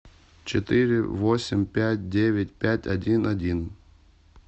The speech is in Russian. четыре восемь пять девять пять один один